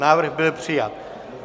Návrh byl přijat.